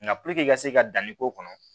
Nka puruke i ka se ka danni k'o kɔnɔ